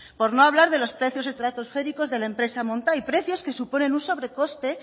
por no hablar de los precios estratosféricos de la empresa montai precios que suponen un sobrecoste